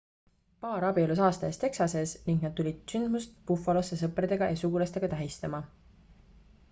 paar abiellus aasta eest texases ning nad tulid sündmust buffalosse sõprade ja sugulastega tähistama